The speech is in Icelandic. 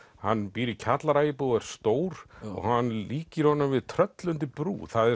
hann býr í kjallaraíbúð og er stór og hann líkir honum við tröll undir brú það